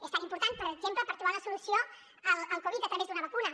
és tan important per exemple per trobar una solució al covid a través d’una vacuna